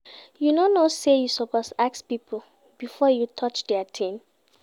You no know sey you suppose ask pipo before you touch their tin?